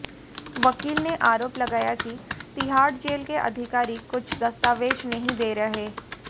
वकील ने आरोप लगाया कि तिहाड़ जेल के अधिकारी कुछ दस्तावेज नहीं दे रहे